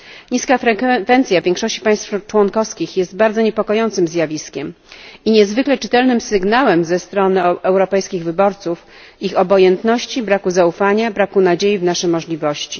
Niska frekwencja w większości państw członkowskich jest bardzo niepokojącym zjawiskiem i niezwykle czytelnym sygnałem ze strony europejskich wyborców, ich obojętności, braku zaufania i braku nadziei wobec naszych możliwości.